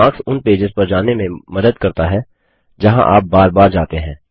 bookmarks उन pages पर जाने में मदद करता है जहाँ आप बार बार जाते हैं